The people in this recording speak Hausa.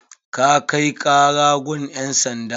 Ka kai kara gun ƴan sanda?